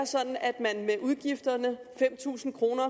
sådan at man med udgifterne fem tusind kroner